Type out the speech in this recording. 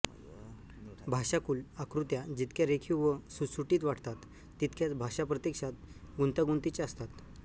भाषाकुल आकृत्या जितक्या रेखीव व सुटसुटीत वाटतात तितक्याच भाषा प्रत्यक्षात गुंतागुंतीच्या असतात